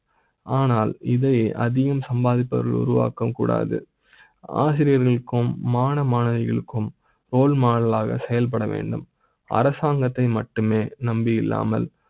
ஆனால் இதை அதிகம் சம்பாதி ப்பவர்கள் உருவாக்க கூடாது. ஆசிரியர்களுக்கும் மாணவ மாணவிகளுக்கும் ரோல்மாடலாக செயல்பட வேண்டும் அரசாங்க த்தை மட்டுமே நம்பி இல்லாமல்